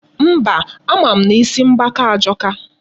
Mba, ama m na isi mgbaka ajọka.